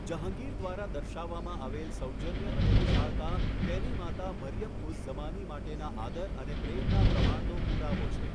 જહાંગીર દ્વારા દર્શાવવામાં આવેલ સૌજન્ય અને વિશાળતા તેની માતા મરિયમ ઉઝ ઝમાની માટેના આદર અને પ્રેમના પ્રમાણનો પુરાવો છે.